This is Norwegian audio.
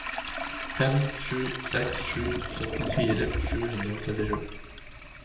fem sju seks sju syttifire sju hundre og trettisju